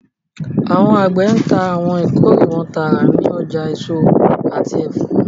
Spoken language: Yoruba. Awọn agbe ńta awọn ikore wọn taara ni ọja eso ati ẹfọ